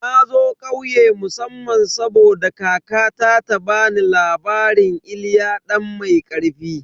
Na zo ƙauye musamman saboda kakata ta bani labarin "Iliya dan mai karfi"